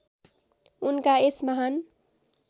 उनका यस महान्